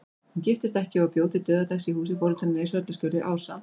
Hún giftist ekki og bjó til dauðadags í húsi foreldranna í Sörlaskjóli, ásamt